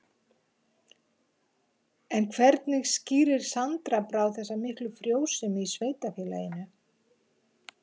En hvernig skýrir Sandra Brá þessa miklu frjósemi í sveitarfélaginu?